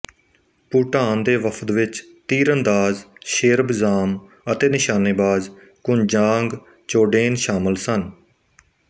ਭੂਟਾਨ ਦੇ ਵਫ਼ਦ ਵਿੱਚ ਤੀਰਅੰਦਾਜ਼ ਸ਼ੇਰਬ ਜ਼ਾਮ ਅਤੇ ਨਿਸ਼ਾਨੇਬਾਜ਼ ਕੁੰਜਾਂਗ ਚੋਡੇਨ ਸ਼ਾਮਲ ਸਨ